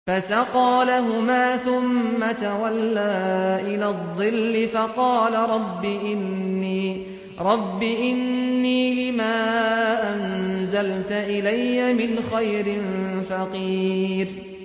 فَسَقَىٰ لَهُمَا ثُمَّ تَوَلَّىٰ إِلَى الظِّلِّ فَقَالَ رَبِّ إِنِّي لِمَا أَنزَلْتَ إِلَيَّ مِنْ خَيْرٍ فَقِيرٌ